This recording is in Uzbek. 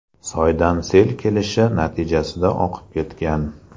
soydan sel kelishi natijasida oqib ketgan.